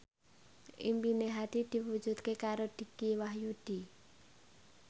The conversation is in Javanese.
impine Hadi diwujudke karo Dicky Wahyudi